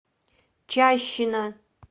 чащина